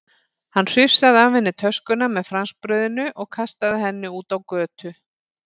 Hann hrifsaði af henni töskuna með franskbrauðinu og kastaði henni út á götu.